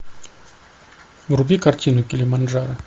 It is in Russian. вруби картину килиманджаро